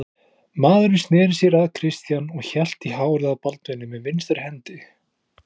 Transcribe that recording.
Maðurinn sneri sér að Christian og hélt í hárið á Baldvini með vinstri hendi.